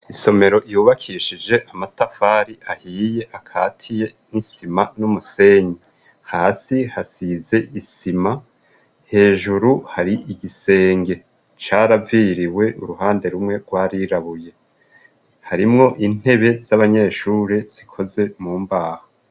Isomero yubakishije amatafari ahiye akatiye n'isima n'umusenyi hasi hasize isima hejuru hari igisenge caraviriwe uruhande rumwe rwarirabuye harimwo intebe z'abanyeshure zikoze mu mbaho.